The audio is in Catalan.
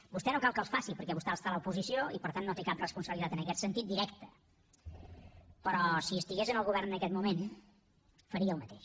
vostè no cal que els faci perquè vostè està a l’oposició i per tant no té cap responsabilitat en aquest sentit directa però si estigués en el govern en aquest moment faria el mateix